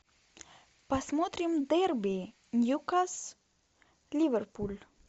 посмотрим дерби ньюкасл ливерпуль